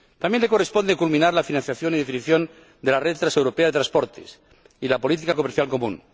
También le corresponde culminar la financiación y definición de la red transeuropea de transportes y la política comercial común.